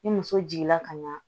Ni muso jiginna ka ɲa